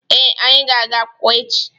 Ee, anyị ga-aga akwụkwọ echi.